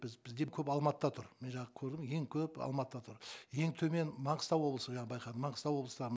біз біз деп көп алматыда тұр мен жаңа көрдім ең көп алматыда тұр ең төмен манғыстау облысы жаңа байқадым манғыстау облыстағы